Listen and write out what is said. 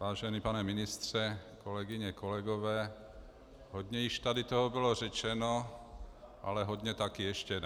Vážený pane ministře, kolegyně, kolegové, hodně již tady toho bylo řečeno, ale hodně taky ještě ne.